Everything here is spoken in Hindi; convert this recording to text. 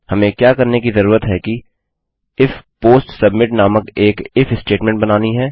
हमें क्या करने की जरूरत है कि इफ पोस्ट सबमिट नामक एक इफ स्टेटमेंट बनानी है